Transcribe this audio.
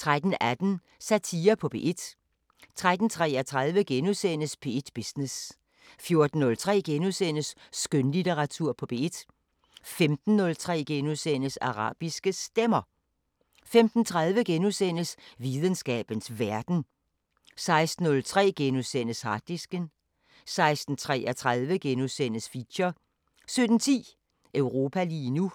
13:18: Satire på P1 13:33: P1 Business * 14:03: Skønlitteratur på P1 * 15:03: Arabiske Stemmer * 15:30: Videnskabens Verden * 16:03: Harddisken * 16:33: Feature * 17:10: Europa lige nu